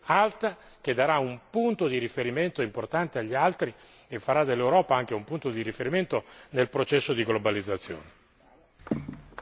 Può indicare, questa soluzione, un modello di competizione alta, che darà un punto di riferimento importante agli altri e farà dell'Europa anche un punto di riferimento nel processo di globalizzazione.